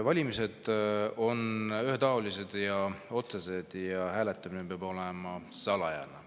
Valimised on ühetaolised ja otsesed, hääletamine peab olema salajane.